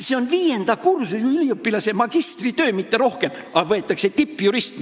See on viienda kursuse üliõpilase magistritöö, mitte rohkem, aga võetakse tippjurist.